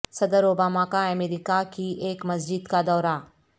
صدر اوباما کا امریکہ کی ایک مسجد کا دورہ